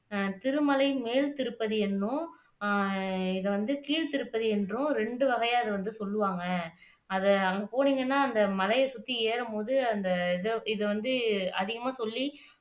அஹ் திருமலை மேல்த்திருப்பதி என்னும் அஹ் இது வந்து கீழ்த்திருப்பதி என்றும் ரெண்டு வகையா சொல்வாங்க அதை அங்க போனீங்கன்னா அந்த மலையை சுத்தி ஏறும்போது அந்த இதை இத வந்து அதிகமா சொல்லி